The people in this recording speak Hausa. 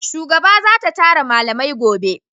Shugaba za ta tara malamai gobe